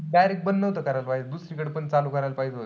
Direct बंद नको करायला पाहिजे होत. दुसरीकडे पण चालू करायला पाहिजे होत.